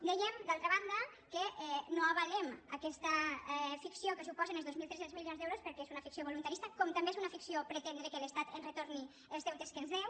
dèiem d’altra banda que no avalem aquesta ficció que suposen els dos mil tres cents milions d’euros perquè és una ficció voluntarista com també és una ficció pretendre que l’estat ens retorni els deutes que ens deu